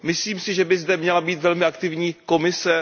Myslím si, že by zde měla být velmi aktivní Evropská komise.